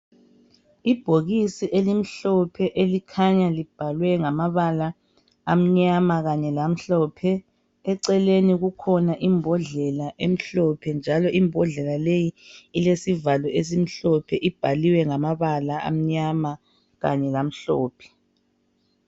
Ibhokisi elimhlophe elikhanya libhalwe ngamabala amnyama kanye lamhlophe, eceleni kukhona imbhodlela emhlophe njalo imbhodlela leyi ilesivalo esimhlophe, ibhaliwe ngamabala amnyama kanye lamhlophe.